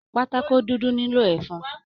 Pátákó dúdú nilo ẹfun.